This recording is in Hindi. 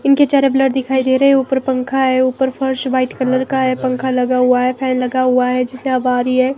इनके चेहरे ब्लर दिखाई दे रहे हैं ऊपर पंखा है ऊपर फ़र्श व्हाइट कलर का है पंखा लगा हुआ है फैन लगा हुआ है जिसे हवा आ रही है।